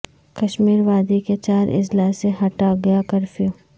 کشمیر وادی کے چار اضلاع سے ہٹا گیا کرفیو